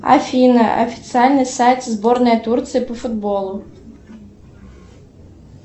афина официальный сайт сборная турции по футболу